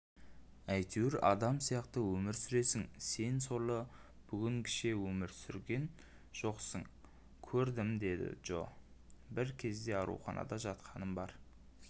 әйтеуір адам сияқты өмір сүресің сен сорлы бүгінгіше өмір көрген жоқсыңкөрдім деді джо бір кезде ауруханада жатқаным бар